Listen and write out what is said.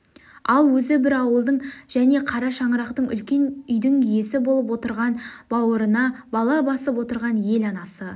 ал өзі бір ауылдың және қара шаңырақтың үлкен үйдің иесі болып огырған бауырына бала басып отырған ел анасы